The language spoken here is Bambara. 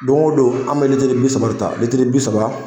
Dongo don an bɛ litiri bi saba de ta, litiri bi saba